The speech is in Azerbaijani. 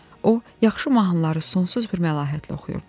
O, yaxşı mahnıları sonsuz bir məlahətlə oxuyurdu.